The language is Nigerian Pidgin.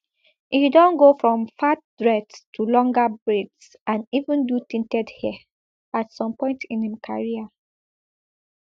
e don go from fat dreads to longer braids and even do tinted hair at some point in im career